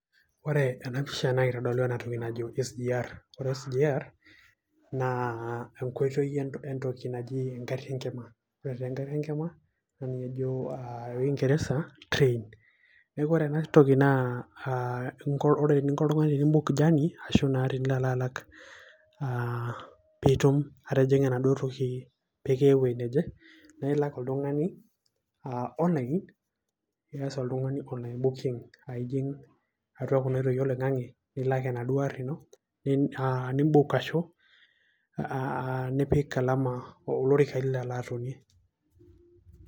ore enapisha naa kitodolu enatoki najo CS[SGR]CS ore CS[SGR]CS naa enkoitoi entoki naji enkari enkima naa ninye ejo wangereza CS[train]CS neeku ore ena toki naa ore eninko oltung'ani teni CS[book journey ]CS arashu naa tenilo alalak peitum atijing'a enaduo toki pee kiya ewuoji neje naa ilak oltung'ani CS[online]CS iji'ng oltung'ani kuna oitoi oloing'ang'e nipik olama olorika lilo alo atonie.